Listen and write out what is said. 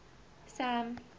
sam